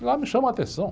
E lá me chama a atenção.